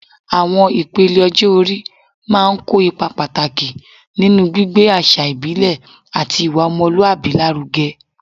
Awọn ipele ọjọ-ori máa ń kó ipa pàtàkì nínú gbígbé àṣà ìbílẹ̀ àti ìwà ọmọlúwàbí lárugẹ